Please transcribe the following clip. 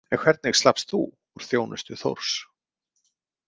En hvernig slappst þú úr þjónustu Þórs?